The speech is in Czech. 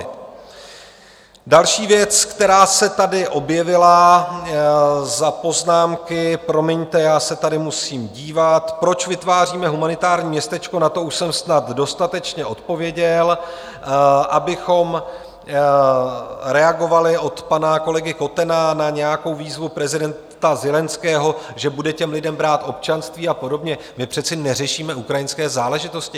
Další věc, která se tady objevila - za poznámky promiňte, já se tady musím dívat: proč vytváříme humanitární městečko - na to už jsem snad dostatečně odpověděl, abychom reagovali od pana kolegy Kotena na nějakou výzvu prezidenta Zelenského, že bude těm lidem brát občanství a podobně - my přece neřešíme ukrajinské záležitosti.